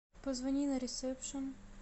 позвони на ресепшн